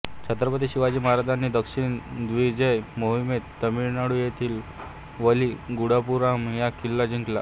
छत्रपती शिवाजी महाराजांनी दक्षिण दिग्विजय मोहिमेत तामिळनाडू येथील वली गंडापुराम हा किल्ला जिंकला